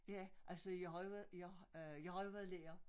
Ja altså jeg har jo været jeg har øh jeg har jo været lærer